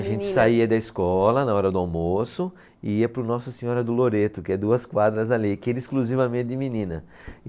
A gente saía da escola na hora do almoço e ia para o Nossa Senhora do Loreto, que é duas quadras dali, que era exclusivamente de menina.